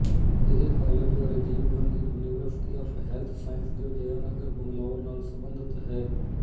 ਇਹ college Rajiv Gandhi University of Health Sciences Jayanagar Bangalore ਨਾਲ ਸਬੰਧਤ ਹੈ